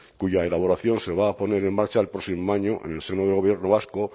cuya elaboración se va a poner en marcha el próximo año en el seno del gobierno vasco